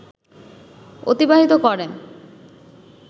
অতিবাহিত করেন